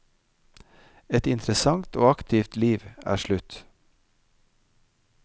Et interessant og aktivt liv er slutt.